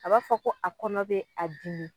A b'a fɔ ko a kɔnɔ be a dimi